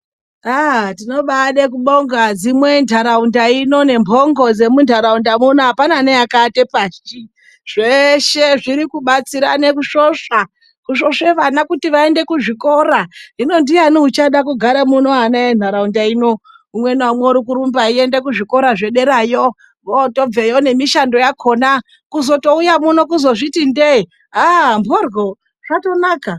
Tinobaada kubonga adzimu endaraunda ino nembongo nepaunopona apana neakaata pashi. Zvese zviri kubatsirana kusvosva. Kusvosve vana kuti vaende kuzvikora. Hino ndiyani uchada kugara muno, ana endaraunda ino umwe naumwe arikurumba achienda kuzvikora zvederayo, vootobveyo nemishando yakona. Kuzotouya muno kuzonditi ndezvoti ndee ha mhoryo zvatonaka.